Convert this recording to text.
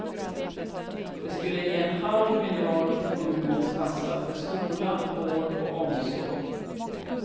Det skulle ge en halv miljard till kommunens kassa för skola, vård och omsorg.